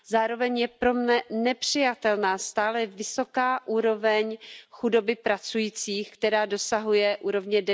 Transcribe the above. Zároveň je pro mne nepřijatelná stále vysoká úroveň chudoby pracujících, která dosahuje úrovně